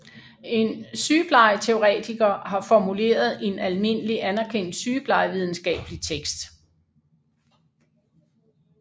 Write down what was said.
En sygeplejeteoretiker har formuleret en almindeligt anerkendt sygeplejevidenskabelig tekst